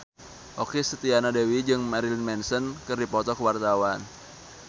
Okky Setiana Dewi jeung Marilyn Manson keur dipoto ku wartawan